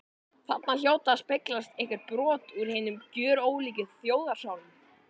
Þarna hljóta að speglast einhver brot úr hinum gjörólíku þjóðarsálum.